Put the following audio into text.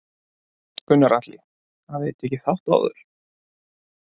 Gunnar Atli: Hafið þið tekið þátt áður?